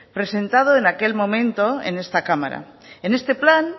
presentado en aquel momento en esta cámara en este plan